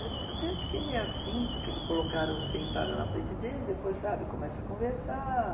Eu até fiquei meio assim, porque me colocaram sentada na frente dele e depois, sabe, começa a conversar.